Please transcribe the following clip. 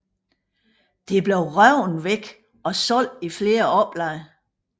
Det blev revet væk og solgt i flere oplag